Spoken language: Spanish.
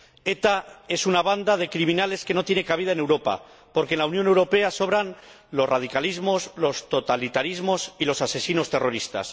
ETA es una banda de criminales que no tiene cabida en Europa, porque en la Unión Europea sobran los radicalismos, los totalitarismos y los asesinos terroristas.